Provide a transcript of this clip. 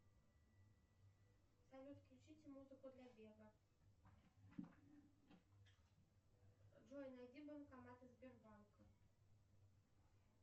салют включите музыку для бега джой найди банкоматы сбербанка